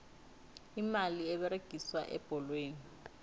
imali eberegiswa ebholweni